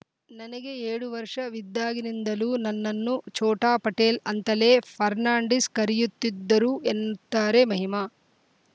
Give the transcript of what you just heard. ನನಗೆ ಏಳು ವರ್ಷವಿದ್ದಾಗಿನಿಂದಲೂ ನನ್ನನ್ನು ಛೋಟಾ ಪಟೇಲ್‌ ಅಂತಲೇ ಫರ್ನಾಂಡೀಸ್‌ ಕರೆಯುತ್ತಿದ್ದರು ಎನ್ನ ತ್ತಾರೆ ಮಹಿಮಾ